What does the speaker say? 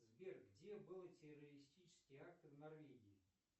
сбер где были террористические акты в норвегии